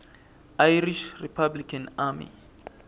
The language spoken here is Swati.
irish republican army